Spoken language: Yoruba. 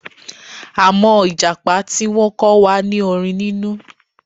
Àmọ́ Ìjàpá tí wọ́n kọ́ wa ní orin nínú